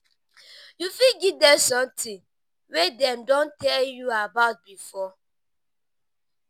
you fit give them something wey dem don tell you about before